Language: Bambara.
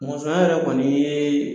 Mɔnsɔnya yɛrɛ kɔni ye